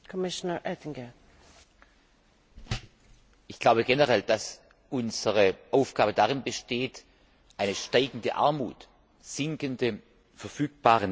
Ich glaube generell, dass unsere Aufgabe darin besteht, steigende Armut, sinkende verfügbare Nettoeinkommen der europäischen Bürger zu vermeiden.